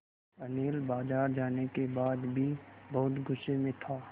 अनिल बाज़ार जाने के बाद भी बहुत गु़स्से में था